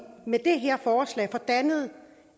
med det her forslag får dannet